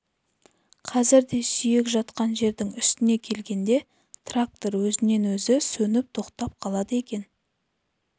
қазір де сүйек жатқан жердің үстіне келгенде трактор өзінен өзі сөніп тоқтап қалады екен